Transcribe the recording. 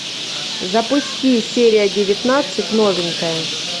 запусти серия девятнадцать новенькая